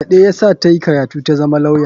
Fyaɗe ya sa ta yi karatu tazama lauya.